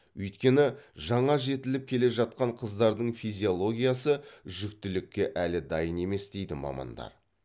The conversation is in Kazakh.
өйткені жаңа жетіліп келе жатқан қыздардың физиологиясы жүктілікке әлі дайын емес дейді мамандар